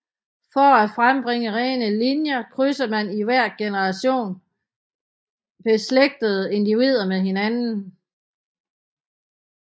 For at frembringe rene linjer krydser man i hver generation beslægtede individer med hinanden